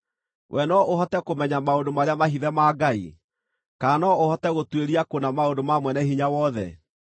“Wee no ũhote kũmenya maũndũ marĩa mahithe ma Ngai? Kana no ũhote gũtuĩria kũna maũndũ ma Mwene-Hinya-Wothe?